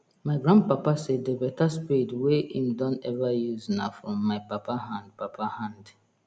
my grand papa say the beta spade wey him don ever use na from my papa hand papa hand